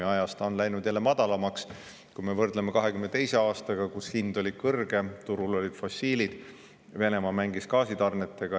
Ja ajas ta on läinud madalamaks, kui me võrdleme 2022. aastaga, kus hind oli kõrge, turul olid fossiil, Venemaa mängis gaasitarnetega.